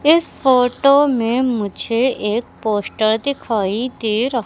इस फोटो में मुझे एक पोस्टर दिखाई दे र--